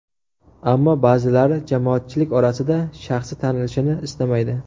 Ammo ba’zilari jamoatchilik orasida shaxsi tanilishini istamaydi.